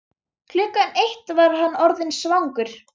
Klukkan eitt var hann orðinn svangur.